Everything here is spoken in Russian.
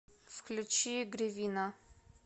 включи гривина